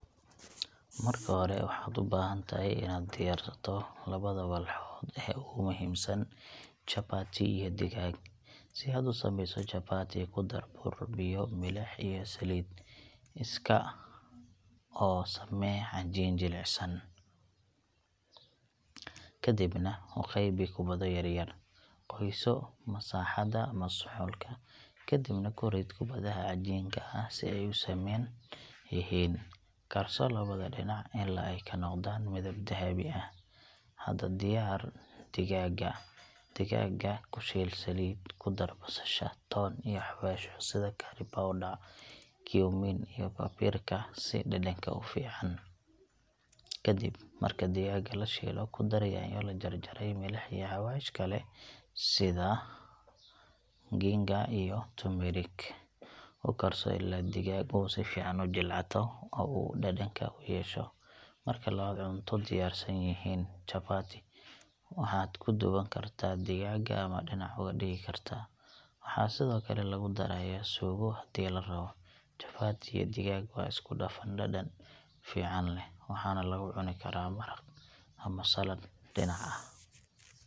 Marka hore, waxaad u baahan tahay inaad diyaarsato labada walxood ee ugu muhiimsan: chapati iyo digaag. Si aad u sameyso chapati, ku dar bur, biyo, milix, iyo saliid. Iska mix oo samee cajiin jilicsan, kadibna u qaybi kubbado yaryar. Qoyso masaxda ama suxulka, kadibna ku rid kubbadaha cajiinka ah si ay u siman yihiin. Karso labada dhinac ilaa ay ka noqdaan midab dahabi ah. Hadda, diyaari digaagga. Digaaga ku shiil saliid, ku dar basasha, toon iyo xawaashyo sida curry powder, cumin, iyo paprika si dhadhanka u fiican. Kadib marka digaaga la shiilo, ku dar yaanyo la jarjaray, milix, iyo xawaash kale sida ginger iyo turmeric. U karso ilaa digaaga uu si fiican u jilcato oo uu dhadhanka yeesho. Marka labada cunto diyaarsan yihiin, chapati waxaad ku duuban kartaa digaagga ama dhinac uga dhigi kartaa. Waxaa sidoo kale lagu darayaa suugo haddii la rabo. Chapati iyo digaag waa isku dhafan dhadhan fiican leh, waxaana lagu cuni karaa maraqa ama saladh dhinac ah.